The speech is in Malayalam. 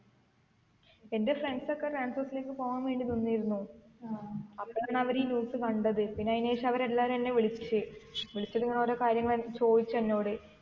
എൻ്റെ friends ഒക്കെ transorze ലേക്ക് പോവാൻ വേണ്ടി നിന്നിരുന്നു അപ്പൊഴാന്ന് അവര് ഈ news കണ്ടത് പിന്നെ അയിന് ശേഷം അവര് എല്ലാരും എന്നെ വിളിച്ച് വിളിച്ചിട്ട് ഇങ്ങന ഓരോ കാര്യങ്ങള് ചോയിച്ച് എന്നോട്